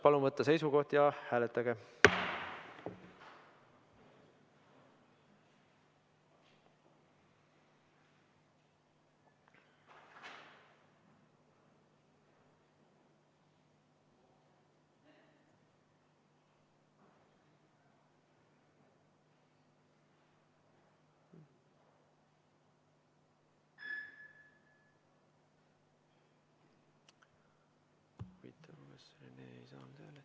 Palun võtta seisukoht ja hääletada!